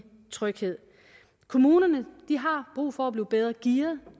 tryghed kommunerne har brug for at blive bedre gearet